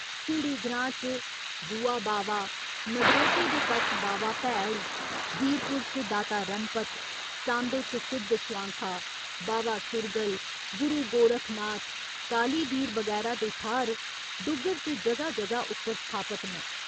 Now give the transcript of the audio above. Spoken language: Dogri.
झिड़ी ग्रां च ''बुआ बावा'' नगरोटे दे कच्छ 'बावा भैड़' बीरपुर च 'दाता रणपत' सांबे च 'सिद्ध स्वांखा'' बावा सुरगल, गुरु गोरखनाथ, कालीबीर बगैरा दे थाह्‌र डुग्गर च जगह जगह उप्पर स्थापत न।